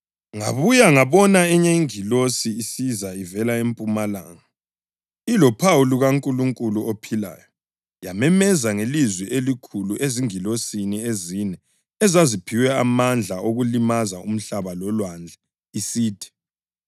Ngabuya ngabona enye ingilosi isiza ivela empumalanga, ilophawu lukaNkulunkulu ophilayo. Yamemeza ngelizwi elikhulu ezingilosini ezine ezaziphiwe amandla okulimaza umhlaba lolwandle, isithi: